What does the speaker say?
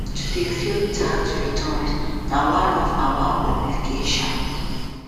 to dey file tax returns na one of our obligations